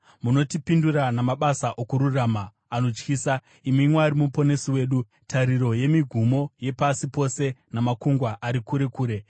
Munotipindura namabasa okururama anotyisa, imi Mwari Muponesi wedu, tariro yemigumo yepasi pose namakungwa ari kure kure,